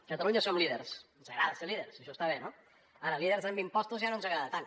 catalunya som líders ens agrada ser líders això està bé no ara líders en impostos ja no ens agrada tant